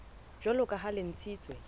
jwalo ka ha le ntshitswe